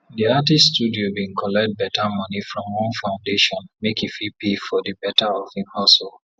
di artist studio bin collect beta money from one foundation make e fit pay for di beta of him hustle